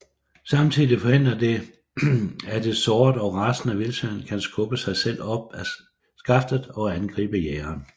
Samtidig forhindrer det at et såret og rasende vildsvin kan skubbe sig selv op af skaftet og angribe jægeren